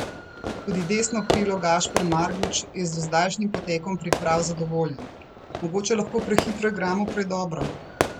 Tudi desno krilo Gašper Marguč je z dozdajšnjim potekom priprav zadovoljen: "Mogoče lahko prehitro igramo predobro.